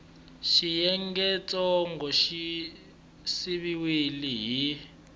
xiyengentsongo xi siviwile hi x